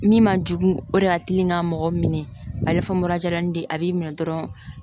Min man jugu o de y'a tilen ka mɔgɔ minɛ a bɛ fɔ mura jarani de ye a b'i minɛ dɔrɔn